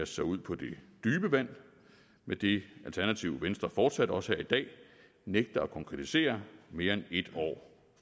sig ud på det dybe vand med det alternativ venstre fortsat også her i dag nægter at konkretisere mere end et år